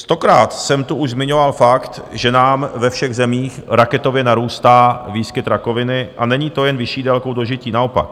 Stokrát jsem tu už zmiňoval fakt, že nám ve všech zemích raketově narůstá výskyt rakoviny, a není to jen vyšší délkou dožití, naopak.